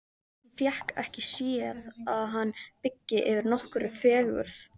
Hún fékk ekki séð að hann byggi yfir nokkurri fegurð.